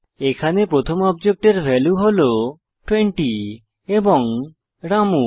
এখানে প্রথম অবজেক্টের ভ্যালু হল 20 এবং রামু